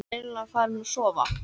Ég var eiginlega farin að sofa.